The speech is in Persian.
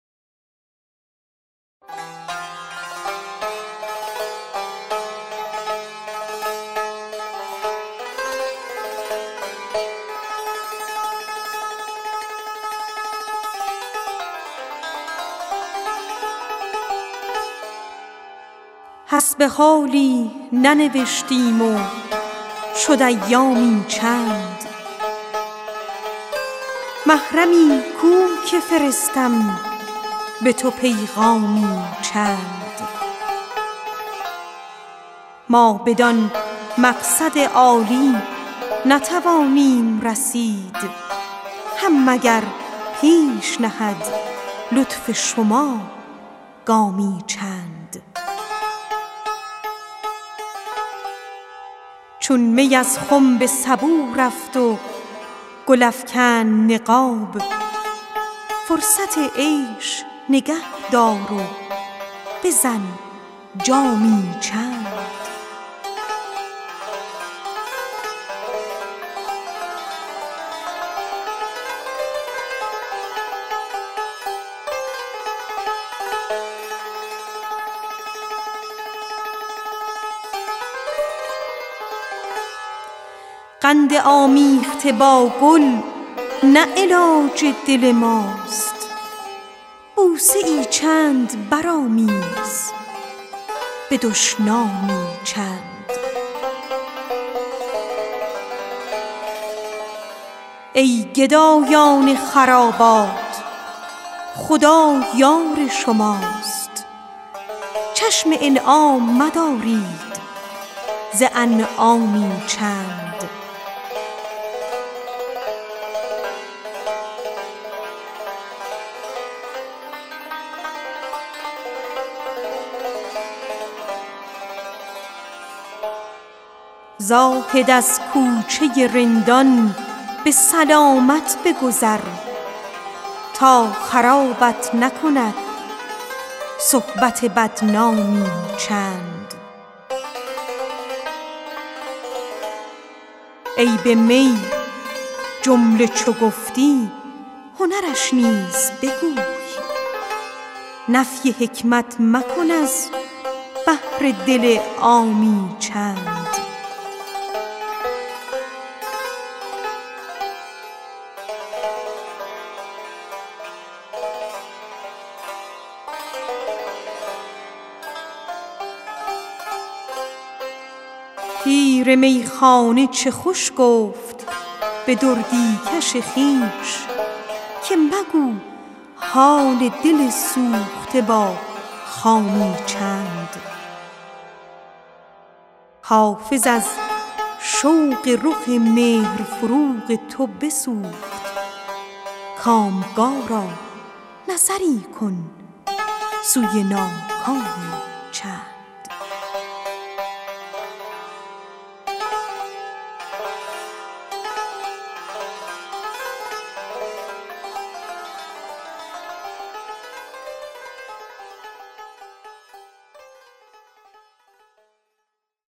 حسب حالی ننوشتی و شد ایامی چند محرمی کو که فرستم به تو پیغامی چند ما بدان مقصد عالی نتوانیم رسید هم مگر پیش نهد لطف شما گامی چند چون می از خم به سبو رفت و گل افکند نقاب فرصت عیش نگه دار و بزن جامی چند قند آمیخته با گل نه علاج دل ماست بوسه ای چند برآمیز به دشنامی چند زاهد از کوچه رندان به سلامت بگذر تا خرابت نکند صحبت بدنامی چند عیب می جمله چو گفتی هنرش نیز بگو نفی حکمت مکن از بهر دل عامی چند ای گدایان خرابات خدا یار شماست چشم انعام مدارید ز انعامی چند پیر میخانه چه خوش گفت به دردی کش خویش که مگو حال دل سوخته با خامی چند حافظ از شوق رخ مهر فروغ تو بسوخت کامگارا نظری کن سوی ناکامی چند